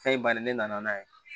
Fɛn in bannen ne nana n'a ye